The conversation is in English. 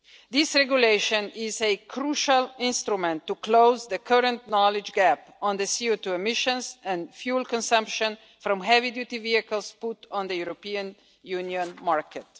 This regulation is a crucial instrument to close the current knowledge gap on the CO2 emissions and fuel consumption from heavy duty vehicles put on the European Union market.